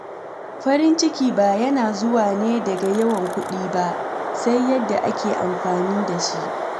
Farin ciki ba yana zuwa ne daga yawan kuɗi ba, sai yadda ake amfani da shi.